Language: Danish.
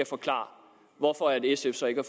forklare hvorfor sf så ikke